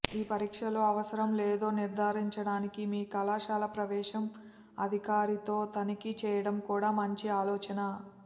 ఈ పరీక్షలు అవసరం లేదో నిర్ధారించడానికి మీ కళాశాల ప్రవేశం అధికారితో తనిఖీ చేయడం కూడా మంచి ఆలోచన